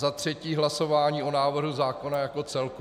Za třetí hlasování o návrhu zákona jako celku.